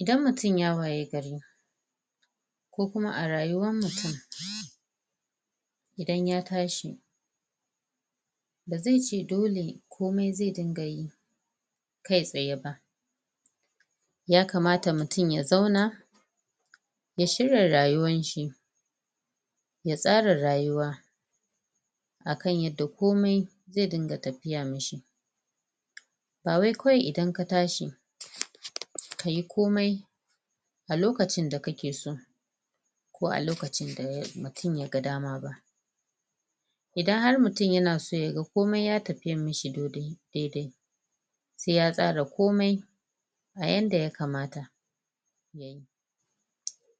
idan mutum ya waye gari ko kuma a rayuwan mutum idan ya tashi ba zai ce dole komai zai ɗnga yi kai tsaye ba ya kamata mutum ya zauna ya shirya rayuwan shi ya tsara rayuwa akan yadda komai zai dinga tafiya mishi ba wai kawai idan ka tashi kayi komai a lokacin da kake so ko a lokacin da mutum ya ga dama ba idan har mutum yana so komai ya tafi mishi dai dai sai ya tsara komai a yanda ya kamata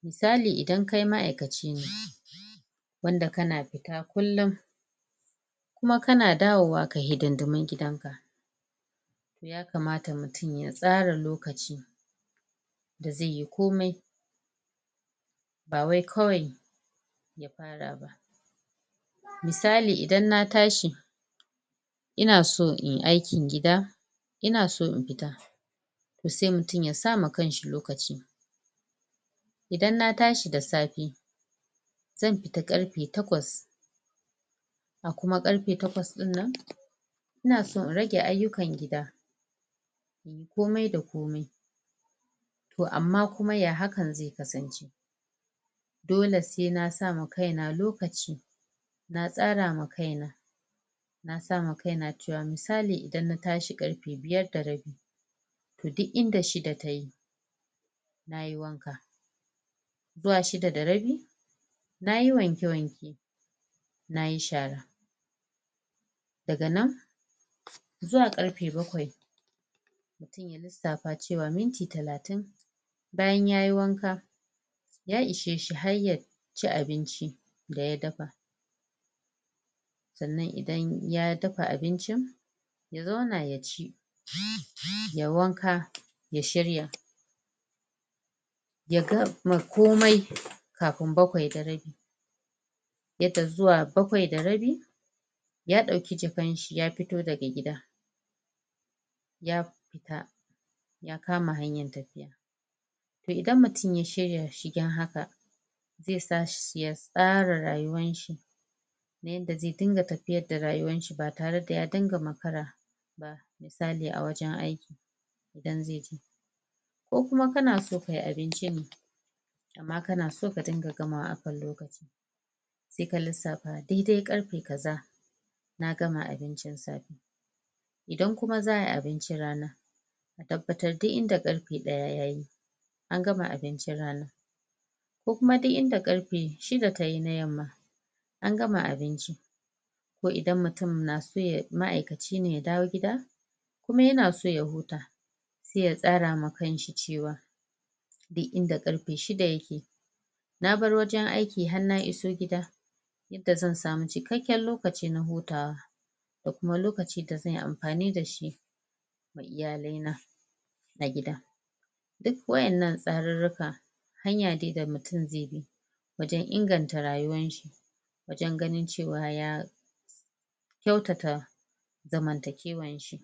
misali idan kai ma'aikaci ne wanda kana fita kullun kuma kana dawowa kayi hiɗinɗimin gidan ka yakamata mutun ya tsara lokaci da zai iyi komai ba wai kawai ya fara ba misali idan na tashi ina so inyi aikin gida inaso in fita toh sai mutum ya sa ma kanshi lokaci idan na tashi da safe zan fita ƙarfe taƙwas a kuma ƙarfe taƙwas dinnan ina so in rage aiyukan gida komai da komai toh amma kuma ya hakan zai kasance doke sai na sa ma kaina lokaci na tsara ma kai na na sa ma kai na misali idan na tashi ƙarfe biyar da rabi toh duk inda shiɗa tayi nayi wanka zuwa shiɗa da rabi nayi wanke wanke nayi shara daga nan zauwa ƙarfe baƙwai sai ya lissafa cewa minti talatin bayan yayi wanka ya ishe shi har ya ya ci abinci da ya dafa sannan idan ya dafa abincin ya zauna ya ci yayi wanka ya shirya ya gama komai kafin baƙwai da rabi yadda zuwa baƙwai da rabi ya dauki jakan shi ya fito daga gida ya fita ya kama hanyan tafiya toh idan mutun ya shirya shigen haka zai sa shi ya tsara rayuwan shi na yanda zai dinga tafityar da rayuwan shi ba tare da ya dinga makara misali a wajen aiki idan ko kuma kana so kayi abinci ne amma kana so ka dinga gamawa akan lokaci sai ka lissafa dai dai ƙarfe kaza na gama abincin safe idan kuma za'ayi abincin rana ka tabbatar duk inda ƙarfe daya yayi an gama abincin rana ko kuma duk inda ƙarfe shiɗa tayi na yamma an gama abinci ko kuma inda mutum ma'aikaci ya dawo gida kuma yana so ya huta sai ya tsara ma kanshi cewa duk inda karfe shiɗa yake na bar wajen aiki na iso gia yadda zan samu cikakken lokaci na hutawa da kuam lokaci da zanyi amfani dashi da iyale na a gida duk wa'ennan tsarurrukan hanya ne da mutun ze bi wajen inganta rayuwan shi wajen ganin cewa ya kyautata zaman takewan shi